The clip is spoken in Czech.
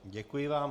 Děkuji vám.